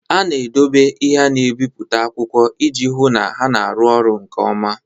A na-edobe ihe na-ebi akwụkwọ iji hụ na ha na-arụ ọrụ nke ọma.